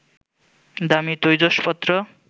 দামি তৈজসপত্র